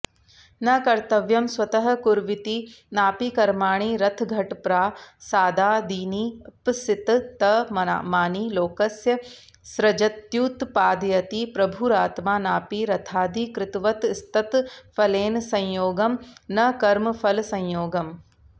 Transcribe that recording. न कर्तृत्वं स्वतः कुर्विति नापि कर्माणि रथघटप्रासादादीनीप्सिततमानि लोकस्य सृजत्युत्पादयति प्रभुरात्मा नापि रथादिकृतवतस्तत्फलेन संयोगं नकर्मफलसंयोगम्